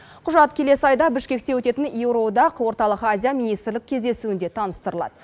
құжат келесі айда бішкекте өтетін еуроодақ оталық азия министрлік кездесуінде таныстырылады